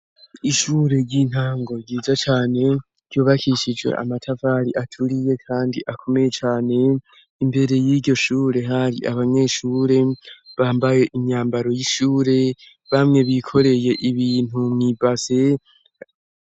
Ishure ry'intango ryiza cane ryobakishijwe amatavari aturiye, kandi akomeye cane imbere y'iryo shure hari abanyeshure bambaye imyambaro y'ishure bamwe bikoreye ibintu mwibase.